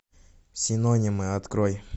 синонимы открой